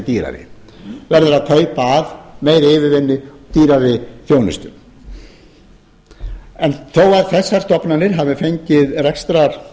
dýrari verður að kaupa að meiri yfirvinnu dýrari þjónustu en þó að þessar stofnanir hafi fengið uppsafnaðan rekstrarvanda að